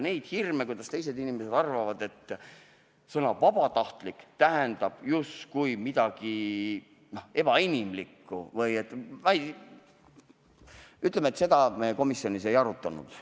Neid hirme, kuidas teised inimesed arvavad, et sõna "vabatahtlik" tähendab justkui midagi ebainimlikku – ütleme nii, et seda teemat me komisjonis ei arutanud.